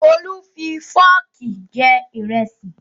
Olú fi fọ́ọ̀kì jẹ ìrẹsì